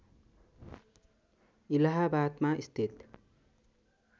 इलाहाबादमा स्थित